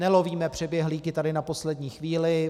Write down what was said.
Nelovíme přeběhlíky tady na poslední chvíli.